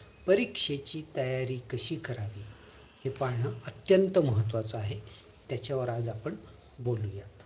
परीक्षेची तयारी कशी करावी हे पाहणं अत्यंत महत्वाचं आहे त्याच्या वर आज आपण बोलूया